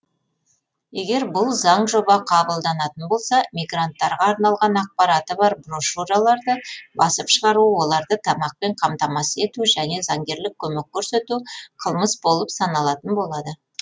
егер бұл заңжоба қабылданатын болса мигранттарға арналған ақпараты бар брошюраларды басып шығару оларды тамақпен қамтамасыз ету және заңгерлік көмек көрсету қылмыс болып саналатын болады